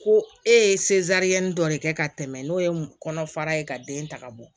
Ko e ye dɔ de kɛ ka tɛmɛ n'o ye kɔnɔfara ye ka den ta ka bɔ